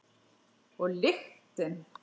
Og lyktin.